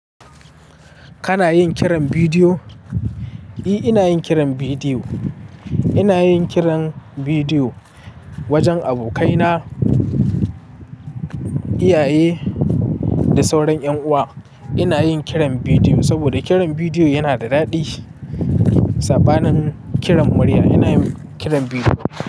Kana yin kiran bidiyo? Eh, ina yin kiran bidiyo. Ina yin kiran bidiyo wajen abokaina, iyaye da sauran ƴan uwa. Ina yin kiran bidiyo saboda kiran bidiyo yana da daɗi. Saɓa nin kiran murya. Ina yin kiran bidiyo.